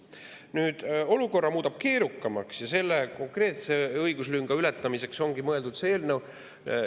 Olukord keerukam ja selle konkreetse õiguslünga ületamiseks ongi mõeldud see eelnõu.